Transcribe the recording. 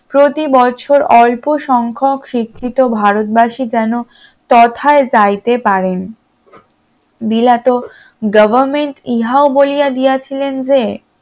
প্রতিবছর অল্প সংখ্যক শিক্ষিত ভারতবাসী যেন তথা চাইতে পারেন, বিলাত government ইহাও বলিয়া গিয়েছিলেন যে